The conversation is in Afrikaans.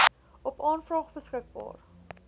op aanvraag beskikbaar